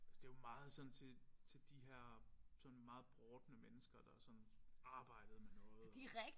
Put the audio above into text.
Altså det jo meget sådan til til de her sådan meget brodne mennesker der sådan arbejdede med noget